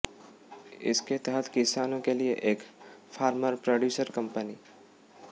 इसके तहत किसानों के लिये एक फार्मर प्रोड्यूसर कम्पनी